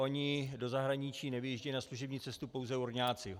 Oni do zahraničí nevyjíždějí na služební cestu pouze urňáci.